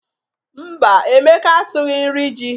Mba, Emeka asụghị nri ji.